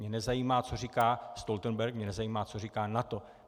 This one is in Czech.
Mě nezajímá, co říká Stoltenberg, mě nezajímá, co říká NATO.